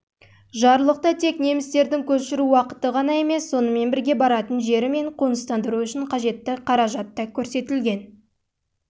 жарлықта тек немістердің көшіру уақыты ғана емес сонымен бірге баратын жері мен қоныстандыру үшін қажетті қаражат